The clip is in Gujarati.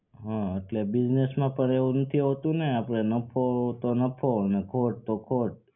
હા એટલે business માં એવું નથી હોતું ને આપડે નફો તો નફો અને ખોટ તો ખોટ